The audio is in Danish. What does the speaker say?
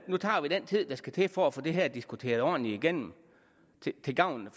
nu tager vi den tid der skal til for at få det her diskuteret ordentligt igennem til gavn